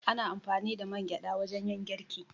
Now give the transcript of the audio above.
Ana amfani da mangyaɗa wajen yin girki.